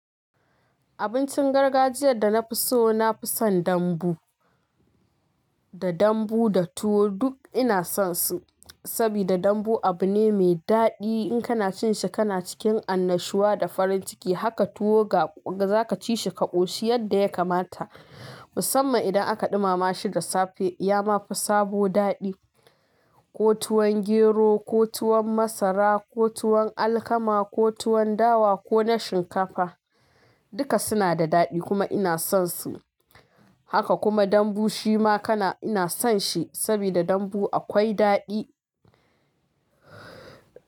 Abincin gargajiyar da na fi so na fi son dambu. Da dambu da tuwo duk ina son su. Saboda dambu abu ne mai daɗi. In kana cin shi kana cikin annashuwa da farin ciki. Haka tuwo ga za ka ci shi ka ƙoshi yadda ya kamata. Musamman idan aka ɗumama shi da safe, ya ma fi sabo daɗi. Ko tuwon gero, ko tuwon masara, ko tuwon alkama, ko tuwon dawa, ko na shinkafa. Duka suna da daɗi kuma ina son su. Haka kuma dambu shi ma kana ina son shi. Saboda dambu akwai daɗi.